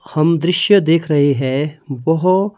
हम दृश्य देख रहे हैं बोहो--